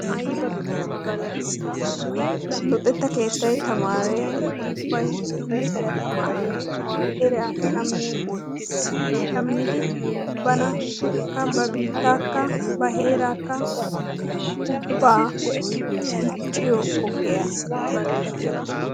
luxxetta keettay tamare ubbay timirtiyaa tamariyo sohuwa qassikka eraa demidi banakka ba biitakka dichchiyo sohuwaa luxxetta keetaya.